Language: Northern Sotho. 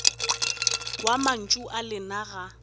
wa mantšu a lena ga